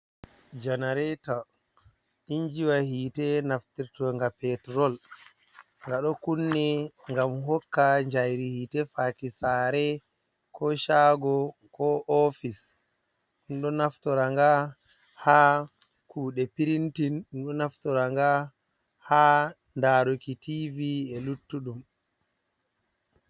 Janareeto injiwa hiite naftirtoga peturol, nga ɗo kunni ngam hokka njairi hiite faaki saare ko shaago ko ofis, ɗum ɗo naftora nga ha kuuɗe pirintin, ɗum ɗo naftora nga haa laruki tiivi e luttuɗum.